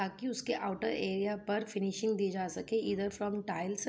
ताकि उसके out area पर फिनिसिंग दी जा सके ईदर फॉर्म टाइल्स --